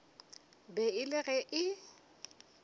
be e le ge e